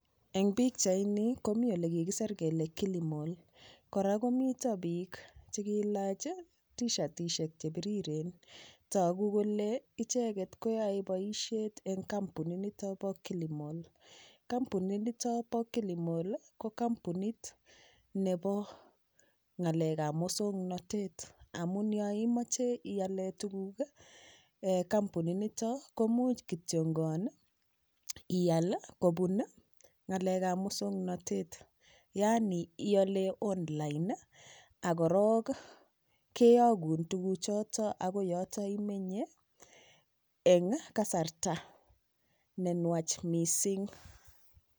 Eng' pikchaini komi ole kikiser kele kilimal kora komito piik chekiilach tishatiskek chepiriren toku kole icheget koyoei boishet kampunit nito bo kilimal kampunit nito bo kilimal ko kampunit nebo ng'alekab mosong'natet amun yo imoche iale tukuk eng' kampunitnito komuch iyal kobun ng'alekab mosong'natet yaani iole on-line akorok keyokun tukuchoto akoi ole imenye eng' kasarta nenwach mising